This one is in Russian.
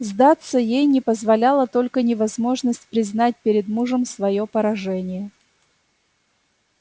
сдаться ей не позволяла только невозможность признать перед мужем своё поражение